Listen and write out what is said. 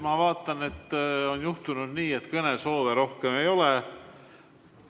Ma vaatan, et on juhtunud nii, et kõnesoove rohkem ei ole.